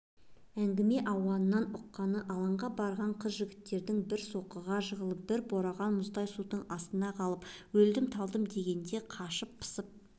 әңгіме ауанынан ұққаны алаңға барған қыз-жігіттердің бір соққыға жығылып бір бораған мұздай судың астына қалып өлдім-талдым дегенде қашып-пысып